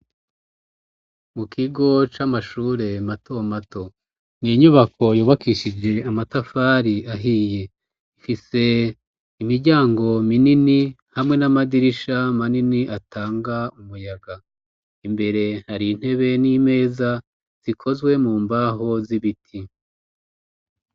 Mu kigo c'amashure mato mato n'inyubako yubakishije amatafari ahiye ifise imiryango minini hamwe n'amadirisha manini atanga umuyaga imbere hari intebe n'imeza zikozwe mu mbaho z'ibiti.